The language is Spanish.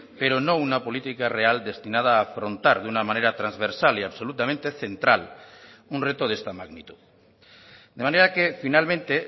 pero no una política real destinada a afrontar de una manera transversal y absolutamente central un reto de esta magnitud de manera que finalmente